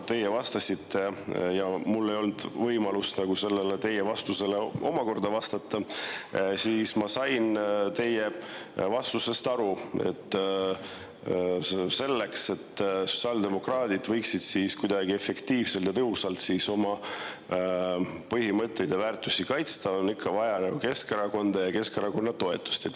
Teie vastasite ja mul ei olnud võimalust teie vastusele omakorda vastata, aga ma sain teie vastusest aru, et selleks, et sotsiaaldemokraadid võiksid kuidagi efektiivselt ja tõhusalt oma põhimõtteid ja väärtusi kaitsta, on ikka vaja Keskerakonda ja Keskerakonna toetust.